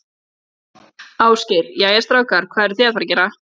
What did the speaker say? Ásgeir: Jæja, strákar, hvað eruð þið að fara að gera?